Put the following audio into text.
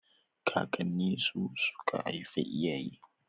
Kakanni su suka haifi iyaye